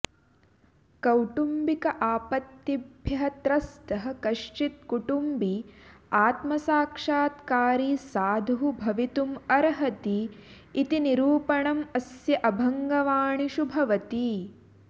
कौटुम्बिकापत्तिभ्यः त्रस्तः कश्चित् कुटुम्बी आत्मसाक्षात्कारी साधुः भबितुम् अर्हति इति निरूपणम् अस्य अभङ्गवाणिषु भवति